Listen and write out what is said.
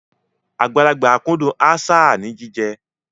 Àgbàlagbà kúndùn aṣáà ní jíjẹ.